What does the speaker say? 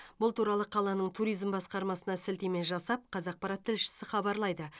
бұл туралы қаланың туризм басқармасына сілтеме жасап қазақпарат тілшісі хабарлайды